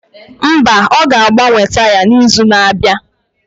Mba, ọ ga-agbanwe taya n'izu na-abịa.